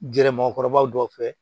Gɛrɛ mɔgɔkɔrɔbaw dɔw fɛ